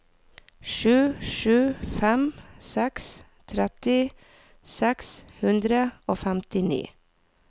sju sju fem seks tretti seks hundre og femtini